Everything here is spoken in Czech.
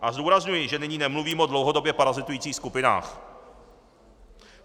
A zdůrazňuji, že nyní nemluvím o dlouhodobě parazitujících skupinách.